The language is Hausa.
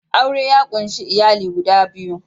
Aure ya ƙunshi iyali guda biyu